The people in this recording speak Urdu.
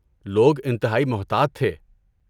لوگ انتہائی محتاط تھے۔